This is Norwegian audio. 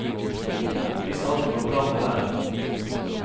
Hvis alt går bra med været.